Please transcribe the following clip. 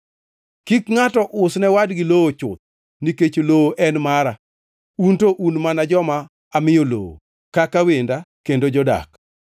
Kik ngʼato usne wadgi lowo chuth, nikech lowo en mara, un to un mana joma amiyo lowo kaka wenda kendo jodak.